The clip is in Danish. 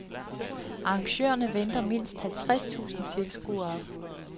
Arrangørerne venter mindst halvtreds tusind tilskuere.